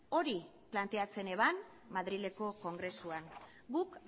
hori planteatzen zuen madrileko kongresuan guk